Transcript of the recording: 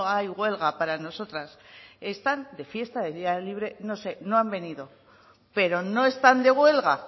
hay huelga para nosotras están de fiesta de día libre no sé no han venido pero no están de huelga